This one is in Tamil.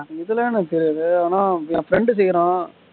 இதெல்லாம் எனக்கு தெரியாது ஆனா என் friend கேக்குறான்